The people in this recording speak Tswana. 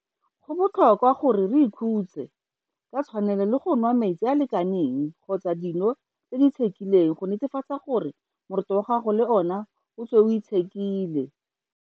Go botlhokwa gape gore o ikhutse ka tshwanelo le go nwa metsi a a lekaneng kgotsa dino tse di itshekileng go netefatsa gore moroto wa gago le ona o tswe o itshekile.